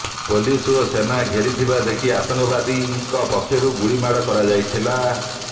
police ଓ ସେନା ଘେରିଥିବା ଦେଖି ଆତଙ୍କବାଦୀଙ୍କ ପକ୍ଷରୁ ଗୁଳିମାଡ କରାଯାଇଥିଲା